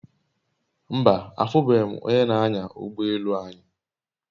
Mba, afube m onye g'anya ugbo elu anyi